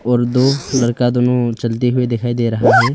और दो लड़का दोनो चलते हुए दिखाई दे रहा है।